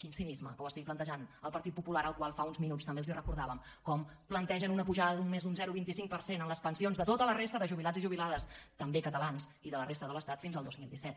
quin cinisme que ho estigui plantejant el partit popular al qual fa uns minuts també els recordàvem com plantegen una pujada només d’un zero coma vint cinc per cent en les pensions de tota la resta de jubilats i jubilades també catalans i de la resta de l’estat fins al dos mil disset